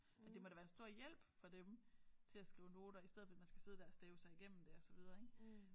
Og det må da være en stor hjælp for dem til at skrive noter i stedet for at man skal sidde der og stave sig igennem det og så videre ik